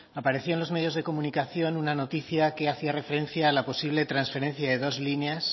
aparecía en los medios de comunicación una noticia que hacía referencia a la posible transferencia de dos líneas